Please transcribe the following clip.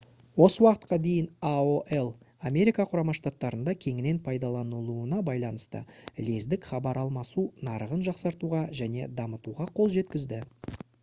осы уақытқа дейін aol америка құрама штаттарында кеңінен пайдаланылуына байланысты лездік хабар алмасу нарығын жақсартуға және дамытуға қолжеткізді